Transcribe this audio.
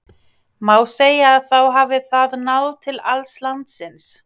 Má segja að þá hafi það náð til alls landsins.